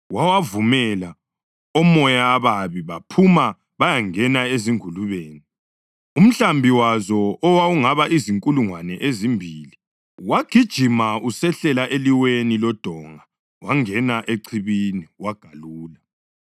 Wawavumela, omoya ababi baphuma bayangena ezingulubeni. Umhlambi wazo, owawungaba zinkulungwane ezimbili, wagijima usehlela eliweni lodonga wangena echibini wagalula.